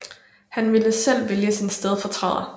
Han ville selv vælge sin stedfortræder